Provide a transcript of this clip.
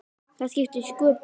Það skiptir sköpum.